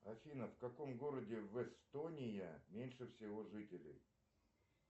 афина в каком городе в эстония меньше всего жителей